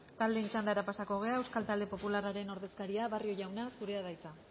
taldeen txandara pasako gara euskal talde popularraren ordezkaria barrio jauna zurea da hitza